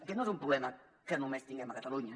aquest no és un problema que només tinguem a catalunya